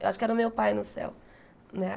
Eu acho que era o meu pai no céu, né?